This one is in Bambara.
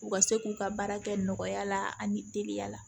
U ka se k'u ka baara kɛ nɔgɔya la ani teliya la